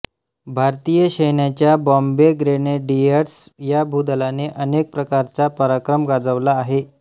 भारतीय सैन्याच्या बॉम्बे ग्रेनेडियर्स या भूदलाने अनेक प्रकारचा पराक्रम गाजवला आहे